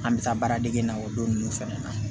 An bɛ taa baaradege in na o don ninnu fɛnɛ na